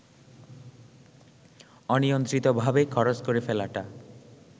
অনিয়ন্ত্রিতভাবে খরচ করে ফেলাটা